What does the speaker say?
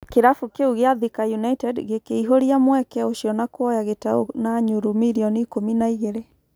kĩrabu kĩu gĩa Thika United gĩkĩihũria mweke ũcio na kuoya Gĩtaũ na yurũ mirioni ikũmi na igĩrĩ.